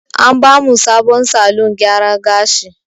An ba mu sabon salon gyara gashi.